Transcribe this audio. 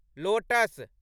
lotus